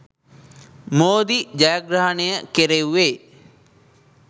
මෝදි ජයග්‍රහණය කෙරෙව්වේ.